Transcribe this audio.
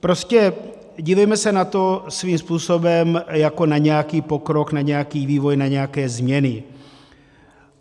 Prostě dívejme se na to svým způsobem jako na nějaký pokrok, na nějaký vývoj, na nějaké změny.